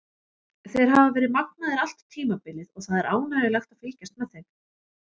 Þeir hafa verið magnaðir allt tímabilið og það er ánægjulegt að fylgjast með þeim.